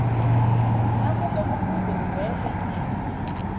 nakube kufuze uveze